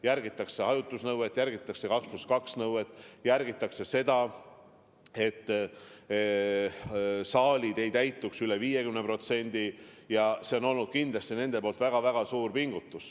Järgitakse hajutusnõuet, järgitakse 2 + 2 nõuet, järgitakse seda, et saalid ei täituks üle 50%, ja see on olnud kindlasti nende poolt väga-väga suur pingutus.